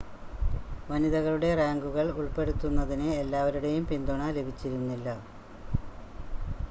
വനിതകളുടെ റാങ്കുകൾ ഉൾപ്പെടുത്തുന്നതിന് എല്ലാവരുടെയും പിന്തുണ ലഭിച്ചിരുന്നില്ല